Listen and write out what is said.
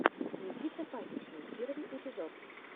никита пасичный первый эпизод